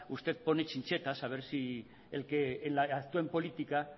usted pone chinchetas a ver si el que actúa en política